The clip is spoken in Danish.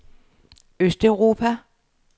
østeuropa